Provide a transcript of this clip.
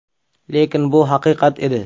Lekin bu haqiqat edi.